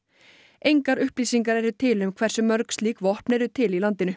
engar upplýsingar eru til um hversu mörg slík vopn eru til í landinu